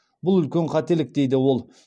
бұл үлкен қателік дейді ол